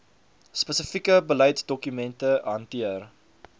spesifieke beleidsdokumente hanteer